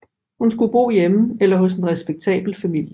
Hun skulle bo hjemme eller hos en respektabel familie